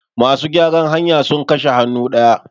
masu gyaran hanya sun kashe hannu daya